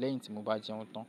lẹ́yìn tí mo bá jẹun tán.